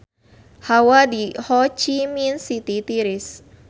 Hawa di Ho Chi Minh City tiris